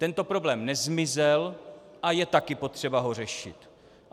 Tento problém nezmizel a je také potřeba ho řešit.